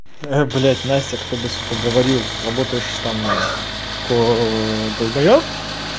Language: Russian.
блять настя кто бы сука говорил работаешь там ко долбаеб